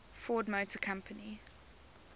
ford motor company